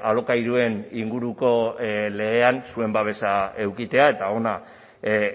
alokairuen inguruko legean zuen babesa edukitzea eta hona